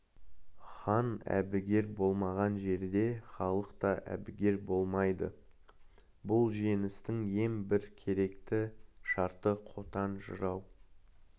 хан әбігер болмаған жерде халық та әбігер болмайды бұл жеңістің ең бір керекті шарты қотан жырау